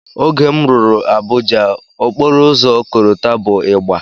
Oge m rụrụ Abuja, okporoụzọ korota bụ ịgba